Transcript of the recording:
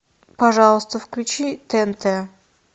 пожалуйста включи тнт